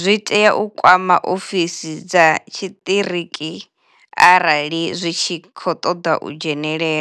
zwi tea u kwama ofisi dza tshiṱiriki arali zwi tshi khou ṱoḓa u dzhenela.